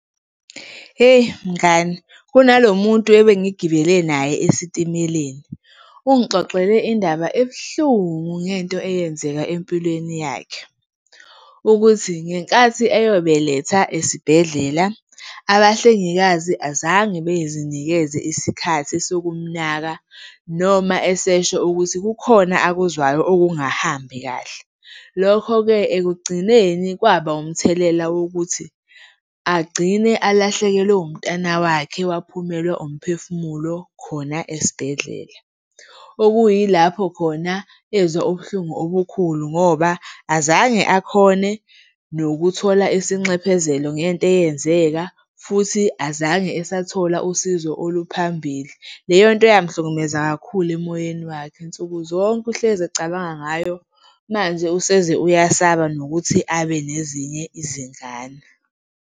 Eyi, mngani kunalomuntu ebengigibele naye esitimeleni. Ungixoxele indaba ebuhlungu ngento eyenzeka empilweni yakhe ukuthi ngenkathi eyobeletha esibhedlela, abahlengikazi azange bezinikeze isikhathi sokumnaka noma esesho ukuthi kukhona akuzwayo okungahambi kahle. Lokho-ke, ekugcineni kwaba umthelela wokuthi agcine alahlekelwe umntwana wakhe, owaphumelwa umphefumulo khona esibhedlela. Okuyilapho khona ezwa ubuhlungu obukhulu ngoba azange akhone nokuthola isinxephezelo ngento eyenzeka futhi azange esathola usizo oluphambili. Leyo nto yamhlukumeza kakhulu emoyeni wakhe, nsukuzonke uhlezi ecabanga ngayo manje useze uyasaba nokuthi abe nezinye izingane.